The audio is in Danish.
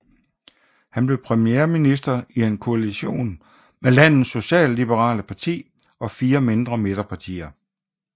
Han blev premierminister i en koaltion med landets socialliberale parti og fire mindre midterpartier